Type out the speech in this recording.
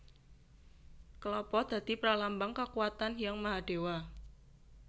Kelapa dadi pralambang kakuwatan Hyang Mahadewa